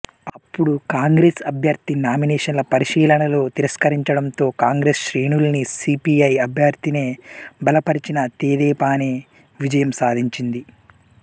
అప్పడు కాంగ్రెస్ అభ్యర్థి నామినేషన్ల పరిశీలనలో తిరస్కరించడంతో కాంగ్రెస్ శ్రేణులన్నీ సీపీఐ అభ్యర్థినే బలపరిచినా తెదేపానే విజయం సాధించింది